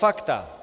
Fakta.